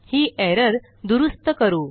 ही error दुरूस्त करू